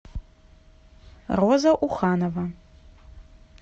роза уханова